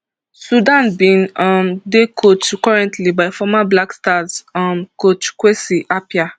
sudan bin um dey coached currently by former black stars um coach kwesi appiah